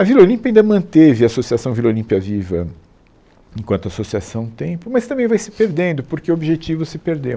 A Vila Olímpia ainda manteve a Associação Vila Olímpia Viva enquanto associação um tempo, mas também vai se perdendo, porque o objetivo se perdeu.